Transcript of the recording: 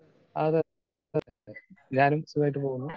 Speaker 2 അതെ ഞാനും സുഖമായിട്ട് പോകുന്നു.